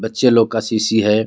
बच्चे लोग का शीशी है.